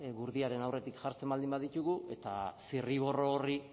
gurdiaren aurretik jartzen baldin baditugu eta zirriborro horri